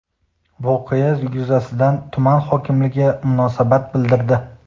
Voqea yuzasidan tuman hokimligi munosabat bildirdi.